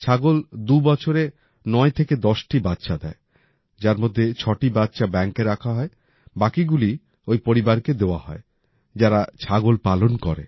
ছাগল ২ বছরে ৯ থেকে ১০টি বাচ্চা দেয় যার মধ্যে ৬টি বাচ্চা ব্যাঙ্কে রাখা হয় বাকিগুলি ওই পরিবারকে দেওয়া হয় যারা ছাগল পালন করে